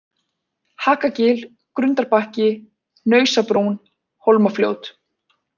Hakagil, Grundarbakki, Hnausabrún, Hólmafljót